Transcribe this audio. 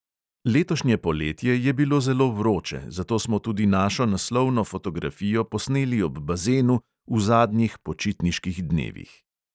Letošnje poletje je bilo zelo vroče, zato smo tudi našo naslovno fotografijo posneli ob bazenu, v zadnjih počitniških dnevih.